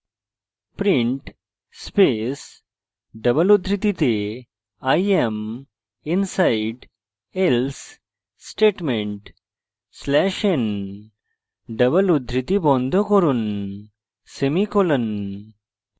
print space double উদ্ধৃতিতে i am inside else statement slash n double উদ্ধৃতি বন্ধ করুন semicolon